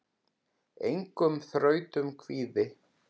Engum þrautum kvíði.